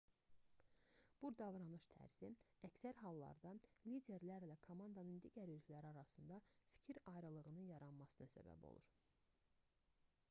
bu davranış tərzi əksər hallarda liderlərlə komandanın digər üzvləri arasında fikir ayrılığının yaranmasına səbəb olur